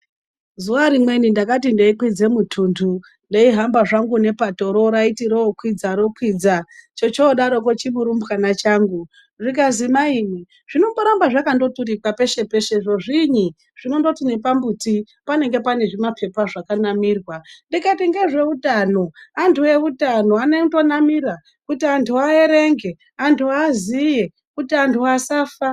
Zuwa rimweni ndakati ndeikwidza mutuntu ndeihamba zvangu nepatoro raiti rokwidza rokwidza. Chochodaroko chimurumbwana changu zvikazi mai imwi zvinomboramba zvakandoturikwa peshe-peshe zviinyi zvinondoti nepambuti panenge pane zvimapepa zvakanamirwa ndikati ngezveutano, antu eutano anondonamira kuti antu aerenge, antu aziye kuti antu asafa.